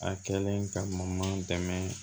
A kɛlen ka ma dɛmɛ